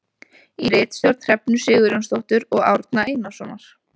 Í ritstjórn Hrefnu Sigurjónsdóttur og Árna Einarssonar.